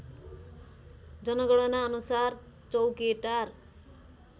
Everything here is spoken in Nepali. जनगणना अनुसार चौकेटार